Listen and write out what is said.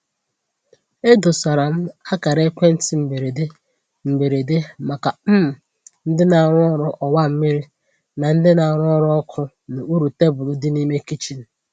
E dosara m akara ekwentị mberede mberede maka um ndị na-arụ ọrụ ọwa mmiri na ndị na-arụ ọrụ ọkụ n’okpuru tebụl di n'ime kichin.